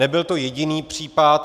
Nebyl to jediný případ.